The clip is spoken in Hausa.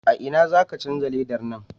A ina za ka canja dalar nan?